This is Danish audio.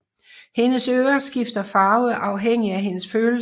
Hendes ører skifter farve afhængig af hendes følelser